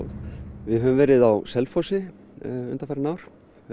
við höfum verið á Selfossi undanfarin ár